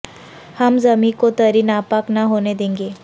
ہم زمیں کو تری ناپاک نہ ہونے دیں گے